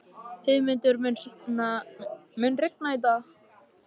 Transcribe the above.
Heiðmundur, mun rigna í dag?